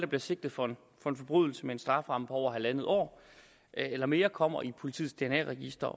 bliver sigtet for en forbrydelse med en strafferamme på halvandet år eller mere kommer i politiets dna register